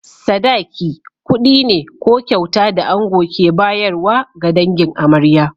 Sadaki, kuɗi ne ko kyauta da ango ke bayarwa ga dangin amarya.